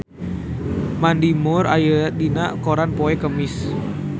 Mandy Moore aya dina koran poe Kemis